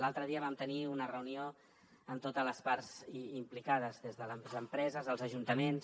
l’altre dia vam tenir una reunió amb totes les parts implicades des de les empreses els ajuntaments